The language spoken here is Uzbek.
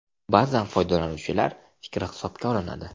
Ba’zan foydalanuvchilar fikri hisobga olinadi.